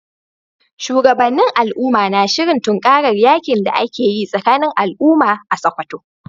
Shugabannin al’umma na shirin tunkarar yakin da ake yi tsakanin al’umma a Sakkwato.